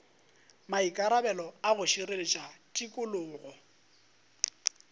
maikarabelo a go šireletša tikologo